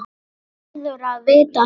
Hann verður að vita það.